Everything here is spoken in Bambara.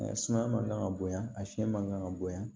Suma man kan ka bonya a fiyɛn man kan ka bonya